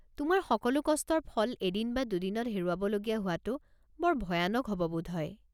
তোমাৰ সকলো কষ্টৰ ফল এদিন বা দুদিনতে হেৰুৱাব লগীয়া হোৱাটো বৰ ভয়ানক হ'ব বোধহয়।